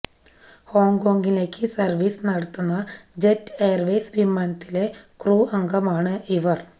ഹോങ്ക്കോംഗിലേക്ക് service നടത്തുന്ന Jet Airways വിമാനത്തിലെ crew അംഗമാണ് ഇവർ